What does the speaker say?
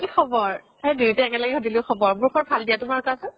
কি খবৰ? দুইটাই একে লগে সুধিলো খবৰ। মোৰ খবৰ ভাল দিয়া তোমাৰ কোৱাচোন